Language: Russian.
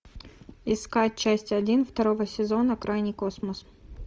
искать часть один второго сезона крайний космос